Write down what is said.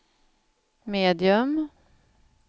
medium